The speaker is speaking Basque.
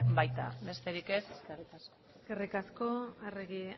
baita besterik ez eskerrik asko eskerrik asko arregi